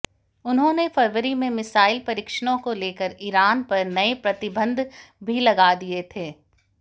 उन्होंने फरवरी में मिसाइल परीक्षणों को लेकर ईरान पर नए प्रतिबंध भी लगा दिए थे